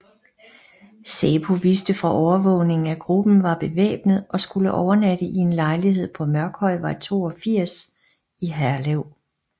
Säpo vidste fra overvågningen at gruppen var bevæbnet og skulle overnatte i en lejlighed på Mørkhøjvej 82 i Herlev